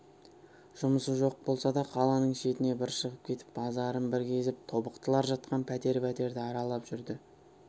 жұмысы жоқ болса да қаланың шетіне бір шығып кетіп базарын бір кезіп тобықтылар жатқан пәтер-пәтерді аралап жүрді